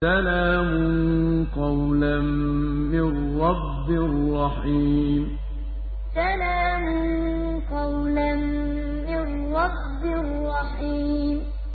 سَلَامٌ قَوْلًا مِّن رَّبٍّ رَّحِيمٍ سَلَامٌ قَوْلًا مِّن رَّبٍّ رَّحِيمٍ